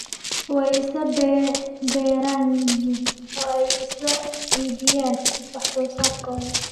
Way isla beeran yihiin oo ay isla iibiyaan wax soo saarkooda.